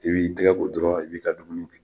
I b'i tigɛ ko dɔrɔn i b'i ka dumuni kɛ.